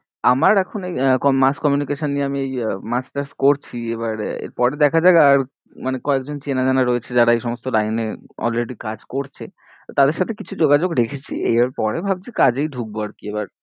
আমার এখন এই আহ কম~ mass communication নিয়ে আমি এই masters করছি এবারে পরে দেখা যাক আর মানে কয়েক জন চেনা জানা রয়েছে যারা এই সমস্ত line এ already কাজ করছে তো তাদের সাথে কিছু যোগাযোগ রেখেছি এর পরে ভাবছি কাজেই ঢুকবো আর কি এবার।